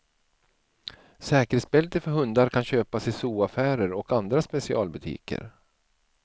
Säkerhetsbältet för hundar kan köpas i zooaffärer och andra specialbutiker.